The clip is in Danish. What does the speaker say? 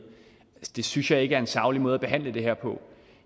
det synes jeg ikke er en saglig måde at behandle det her på